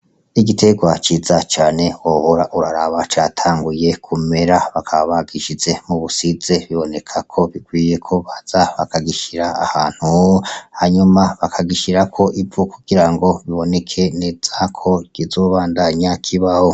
Igiterwa ciza cane wohora uraraba catanguye kumera bakaba bagishize mubusize biboneka ko bikwiye ko baza bakagishira ahantu, hanyuma bakagishirako ivu kugira ngo biboneke neza ko kizobandanya kibaho.